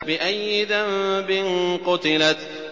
بِأَيِّ ذَنبٍ قُتِلَتْ